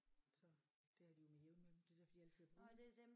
Så det er de jo med jævne mellem det er derfor de altid ude